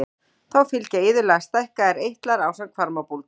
Þá fylgja iðulega stækkaðir eitlar ásamt hvarmabólgu.